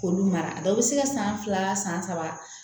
K'olu mara dɔw bɛ se ka san fila san san saba